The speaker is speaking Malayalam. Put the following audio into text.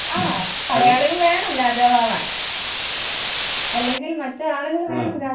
ആ പടയാളികൾ വേണം രാജാവാവാൻ അല്ലെങ്കിൽ മറ്റ് ആളുകൾ വേണം